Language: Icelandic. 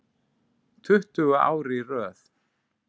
Tuttugu ár í röð.